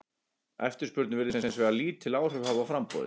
Eftirspurn virðist hins vegar lítil áhrif hafa á framboðið.